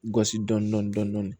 Gosi dɔɔnin dɔɔnin